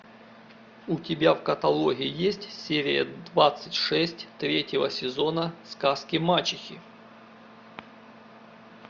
у тебя в каталоге есть серия двадцать шесть третьего сезона сказки мачехи